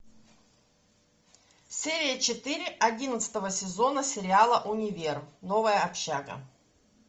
серия четыре одиннадцатого сезона сериала универ новая общага